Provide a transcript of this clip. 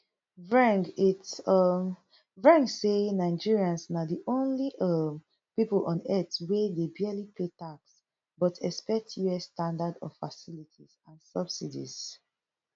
vreng its um vreng say nigerians na di only um pipo on earth wey dey barely pay tax but expect us standard of facilities and subsidies